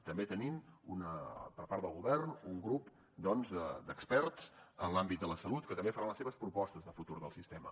també tenim per part del govern un grup doncs d’experts en l’àmbit de la salut que també faran les seves propostes de futur del sistema